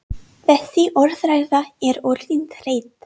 Þessi orðræða er orðin þreytt!